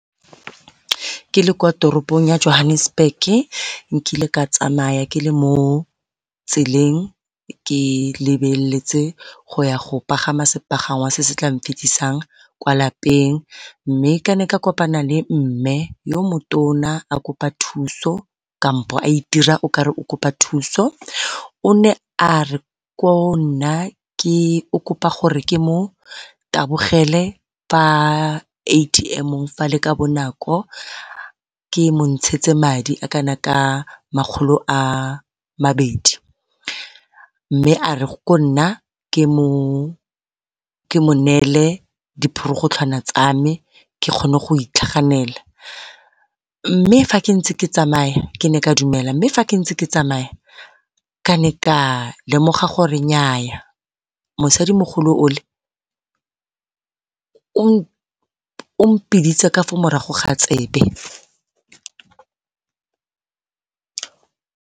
Ke le kwa toropong ya Johannesburg-ke nkile ka tsamaya ke le mo tseleng ke lebeletse go ya go pagama sepagangwa se se tla nfitlhisang kwa lapeng. Mme ke ne ka kopana le mme yo motona a kopa thuso kampo a itira o kare o kopa thuso o ne a re o kopa gore ke mo tabogele fa A_T_M-ong fale ka bonako ke mo montshetse madi a kana ka makgolo a mabedi. Mme a re go nna ke mo neele diporogotlhwana tsa me ke gone go itlhaganela, mme fa ke ntse ke tsamaya ke ne ka dumela, mme fa ke ntse ke tsamaya ka ne ka lemoga gore nnyaa mosadimogolo o le o mpiditse ka fa morago ga tsebe.